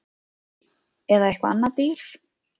Eða eitthvað annað dýr